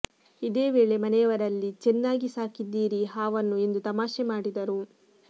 ಇದೇ ವೇಳೆ ಮನೆಯವರಲ್ಲಿ ಚೆನ್ನಾಗಿ ಸಾಕಿದ್ದೀರಿ ಹಾವನ್ನು ಎಂದು ತಮಾಷೆ ಮಾಡಿದರು